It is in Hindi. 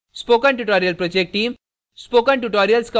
spoken tutorial project team